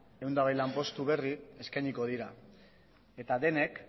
ehun eta hogei lanpostu berri eskainiko dira eta denek